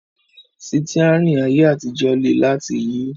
Sítíárìn ayé àtijọ́ le láti yí